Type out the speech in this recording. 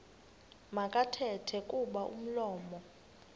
makathethe kuba umlomo